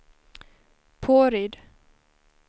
Påryd